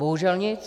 Bohužel nic.